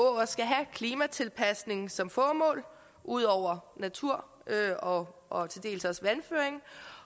skal have klimatilpasning som formål ud over natur og og til dels vandføring